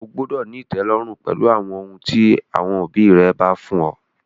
O gbúdọ̀ ní ìtẹ́lọ́rùn pẹ̀lú ohun tí àwọn òbí rẹ bá fún ọ!